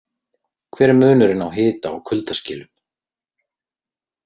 Hver er munurinn á hita- og kuldaskilum?